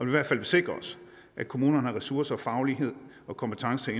i hvert fald sikrer os at kommunerne har ressourcer og faglighed og kompetencer